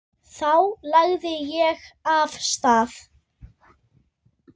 Þá lagði ég af stað.